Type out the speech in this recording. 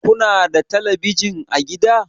Ku na da telebijin a gida?